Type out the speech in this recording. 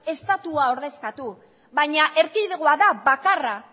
estatua ordezkatu baina erkidegoa da bakarra